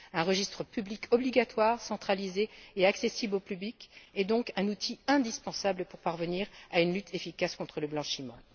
Un registre public obligatoire centralisé et accessible au public est donc un outil indispensable pour parvenir à une lutte efficace contre le blanchiment.